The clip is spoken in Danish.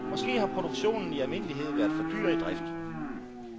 Måske har produktionen i almindelighed været for dyr i drift.